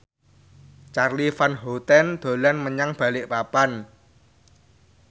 Charly Van Houten dolan menyang Balikpapan